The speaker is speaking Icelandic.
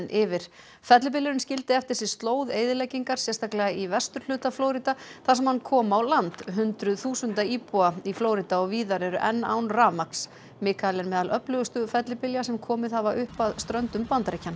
yfir fellibylurinn skildi eftir sig slóð eyðileggingar sérstaklega í vesturhluta Flórída þar sem hann kom á land hundruð þúsunda íbúa í Flórída og víðar eru enn án rafmagns Mikael er meðal öflugustu fellibylja sem komið hafa upp að ströndum Bandaríkjanna